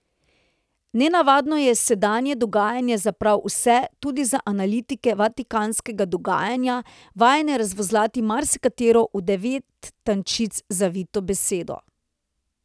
Nenavadno je sedanje dogajanje za prav vse, tudi za analitike vatikanskega dogajanja, vajene razvozlati marsikatero v devet tančic zavito besedo.